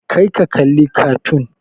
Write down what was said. Kar ka kalli kartoon!